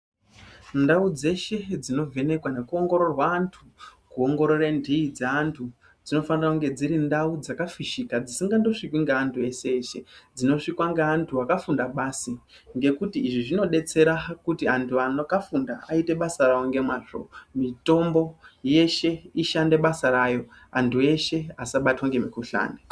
Ndau dzeshe dzinovenekwe nekuongoroorwa antu, kuongorerwe ndi dzaantu dzinofanira dziri ndau dzakafishiki dzisingangosvikwe neantu vese vese ,dzinosvikwa neantu vakafunda basi ngekuti zvinodetsera kuti vantu vakafunda vaite basa ravo ngemazvo. Mitombo yeshe ishande basa rayo antu ese vasabatwe nemikuhlane.